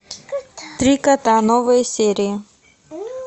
три кота новые серии